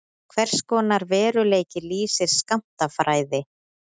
Hvers konar veruleika lýsir skammtafræði?